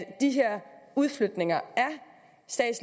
de her udflytninger